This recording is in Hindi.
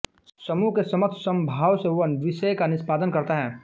समूह के समक्ष समभाव से वह विषय का निष्पादन करता है